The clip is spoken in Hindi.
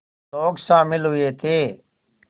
लोग शामिल हुए थे